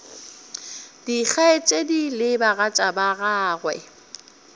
dikgaetšedi le bagatša ba gagwe